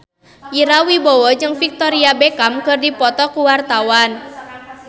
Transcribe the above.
Ira Wibowo jeung Victoria Beckham keur dipoto ku wartawan